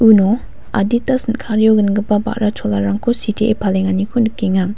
uno adita sin·kario gangipa ba·ra cholarangko sitee palenganiko nikenga.